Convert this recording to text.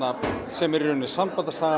sem er í rauninni